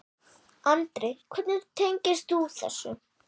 Andri: Hvernig tengist þú þessu?